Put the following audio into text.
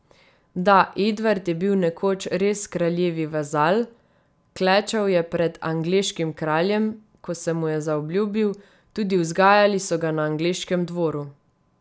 Da, Edvard je bil nekoč res kraljevi vazal, klečal je pred angleškim kraljem, ko se mu je zaobljubil, tudi vzgajali so ga na angleškem dvoru.